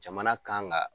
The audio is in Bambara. Jamana kan ka